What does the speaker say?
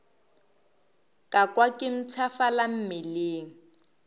ka kwa ke mpshafala mmeleng